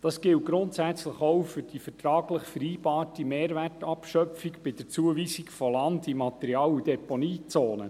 Dies gilt grundsätzlich auch für die vertraglich vereinbarte Mehrwertabschöpfung bei der Zuweisung von Land in der Material- und Deponiezone.